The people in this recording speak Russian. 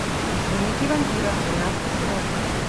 дневники вампира двенадцатый сезон